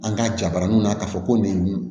An ka jabaraninw na k'a fɔ ko nin